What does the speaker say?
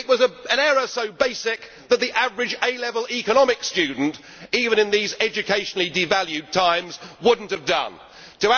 It was an error so basic that the average A level economics student even in these educationally devalued times would not have done this.